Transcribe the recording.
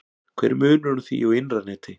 hver er munurinn á því og innra neti